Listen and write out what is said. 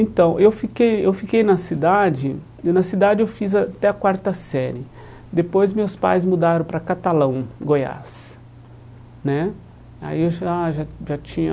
Então, eu fiquei eu fiquei na cidade e na cidade eu fiz até a quarta série Depois meus pais mudaram para Catalão, Goiás né Aí eu já já já tinha